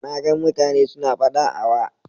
Na gan mutane su na fada a wa